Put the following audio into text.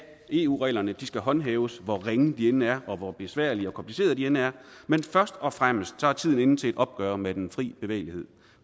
eu reglerne skal håndhæves hvor ringe de end er og hvor besværlige og komplicerede de end er men først og fremmest er tiden inde til et opgør med den fri bevægelighed